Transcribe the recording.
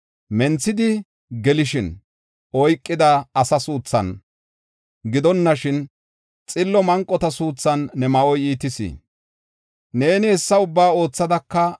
Menthidi gelishin oykida asaa suuthan gidonashin xillo manqota suuthan ne ma7oy iitis. Neeni hessa ubbaa oothadaka,